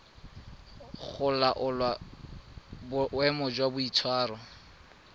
go laola boemo jwa boitshwaro